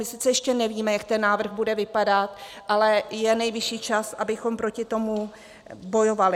My sice ještě nevíme, jak ten návrh bude vypadat, ale je nejvyšší čas, abychom proti tomu bojovali.